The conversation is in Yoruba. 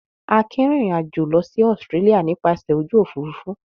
Akin rìnrìn-àjò lọ sí Australia nípasẹ̀ ojú òfurufú.